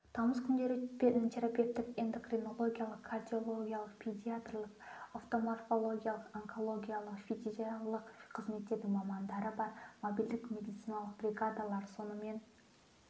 тамыз күндері терапевтік эндокринологиялық кардиологиялық педиатрлік офтальмологиялық онкологиялық фтизиатриялық қызметтердің мамандары бар мобильдік медициналық бригадалар сонымен